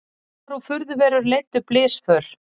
Álfar og furðuverur leiddu blysför